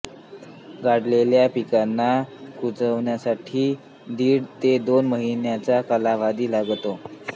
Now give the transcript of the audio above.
गाडलेल्या पिकांना कुजण्य़ासाठी दीड ते दोन महिन्यांचा कालवधी लागतो